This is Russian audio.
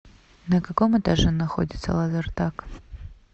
на каком этаже находится лазертаг